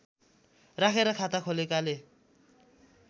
राखेर खाता खोलेकाले